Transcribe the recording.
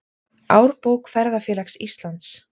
Árbók Ferðafélags Íslands.